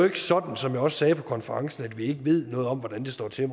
ikke sådan som jeg også sagde på konferencen at vi ikke ved noget om hvordan det står til